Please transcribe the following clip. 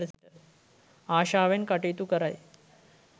ආශාවෙන් කටයුතු කරයි.